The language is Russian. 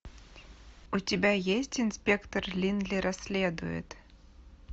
у тебя есть инспектор линли расследует